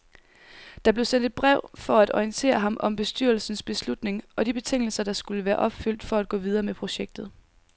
Der blev sendt et brev for at orientere ham om bestyrelsens beslutning og de betingelser, der skulle være opfyldt for at gå videre med projektet.